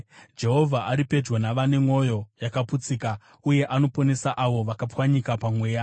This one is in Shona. Jehovha ari pedyo navane mwoyo yakaputsika uye anoponesa avo vakapwanyika pamweya.